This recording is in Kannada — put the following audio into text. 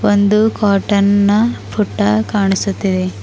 ಒಂದು ಕಾಟನ್ ನ ಪುಟ್ಟ ಕಾಣಿಸುತ್ತಿದೆ.